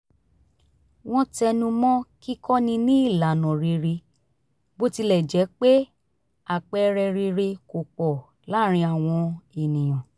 wọ́n tẹnumọ́ kíkọ́ni ní ìlànà rere bó tilẹ̀ jẹ́ pé àpẹẹrẹ rere kò pọ̀ láàrín àwọn ènìyàn